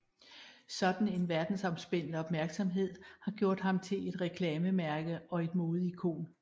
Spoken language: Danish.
Sådan en verdensomspændende opmærksomhed har gjort ham til et reklamemærke og et modeikon